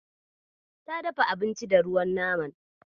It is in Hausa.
Ta dafa abinci da ruwan naman.